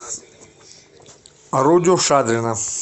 рудю шадрина